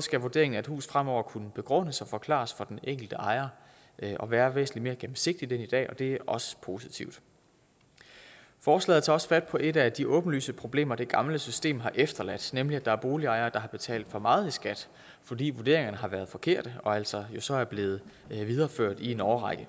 skal vurderingen af et hus fremover kunne begrundes og forklares for den enkelte ejer og være væsentlig mere gennemsigtigt end i dag og det er også positivt forslaget tager også fat på et af de åbenlyse problemer som det gamle system har efterladt nemlig at der er boligejere der har betalt for meget i skat fordi vurderingerne har været forkerte og altså jo så er blevet videreført i en årrække